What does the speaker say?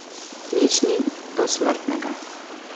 Nič ni dosmrtnega.